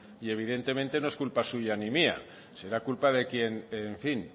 y evidentemente no es culpa suya ni mía será culpa de quien en fin